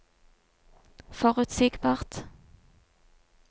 forutsigbart